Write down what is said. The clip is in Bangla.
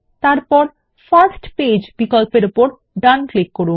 তারপর ফার্স্ট পেজ বিকল্পর উপর ডান ক্লিক করুন